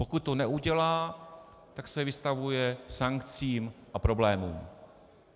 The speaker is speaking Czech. Pokud to neudělá, tak se vystavuje sankcím a problémům.